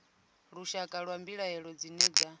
lushakade lwa mbilaelo dzine dza